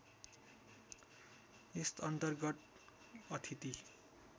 यस अर्न्तगत अतिथि